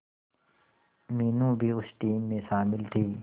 मीनू भी उस टीम में शामिल थी